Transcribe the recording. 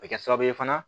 A bɛ kɛ sababu ye fana